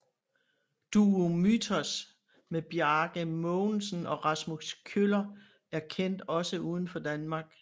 Duo Mythos med Bjarke Mogensen og Rasmus Kjøller er kendt også uden for Danmark